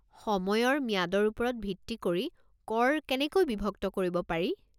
সময়ৰ ম্যাদৰ ওপৰত ভিত্তি কৰি কৰ কেনেকৈ বিভক্ত কৰিব পাৰি?